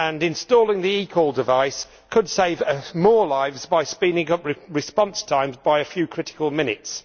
Installing the eCall device could save more lives by speeding up response times by a few critical minutes.